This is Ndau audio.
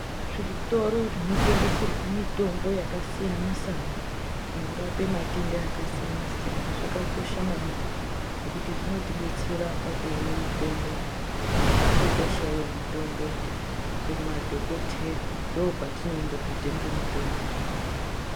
Zvitoro zvinotengeserwe mutombo yakasiyana siyana zvinorape matenda akasiyana siyana zvakakosha maningi ngekuti zvinotidetsera zvinotidetsera kuone mitombo kana tichinge teida mutombo kunadhodheya ndokwatinoenda kotenge mitombo.